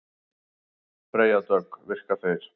Freyja Dögg: Virka þeir?